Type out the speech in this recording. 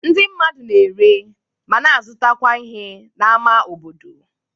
Ndị mmadụ na-ere, ma na-azụtakwa ihe n'ámá obodo.